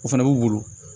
O fana b'u bolo